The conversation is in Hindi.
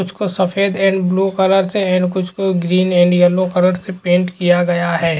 कुछ सफ़ेद एंड ब्लू कलर से एंड कुछ को ग्रीन एंड येलो कलर से पेंट किया गया है।